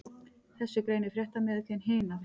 Þessu greinir fréttamiðillinn Hina frá